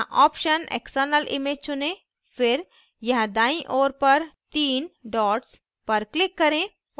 यहाँ option external image चुनें फिर यहाँ दाईं ओर पर 3 dots पर click करें